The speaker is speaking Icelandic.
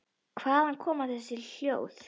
Hvaðan koma þessi hljóð?